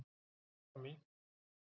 Líkt og fram í